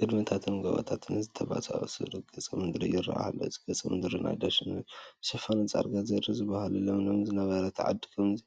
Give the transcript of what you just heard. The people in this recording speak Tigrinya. ግድምታትን ጐቦታትን ዝተሰባሰቡሉ ገፀ ምድሪ ይርአ ኣሎ፡፡ እዚ ገፀ ምድሪ ናይ ደን ሽፋኑ ዳርጋ ዜሮ ዝበሃል እዩ፡፡ ለምለም ዝነበረት ዓዲ ከምዚ